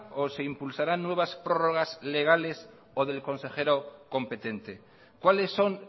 o se impulsarán nuevas prórrogas legales o del consejero competente cuáles son